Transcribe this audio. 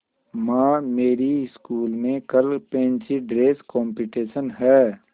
माँ मेरी स्कूल में कल फैंसी ड्रेस कॉम्पिटिशन है